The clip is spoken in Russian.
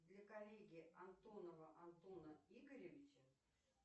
для коллеги антонова антона игоревича